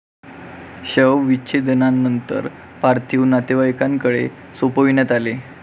शवविच्छेदनानंतर पार्थिव नातेवाईकांनाकडे सोपविण्यात आले आहे.